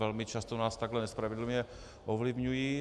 Velmi často nás takhle nespravedlivě ovlivňují.